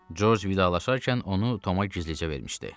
George vidalaşarkən onu Toma gizlicə vermişdi.